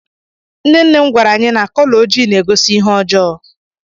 nne nne m gwara anyi na kọlọ ojii na-egosi ihe ọjọọ